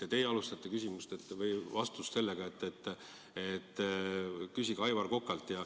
Ja teie alustasite vastust sellega, et küsige Aivar Kokalt.